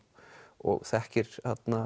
og þekkir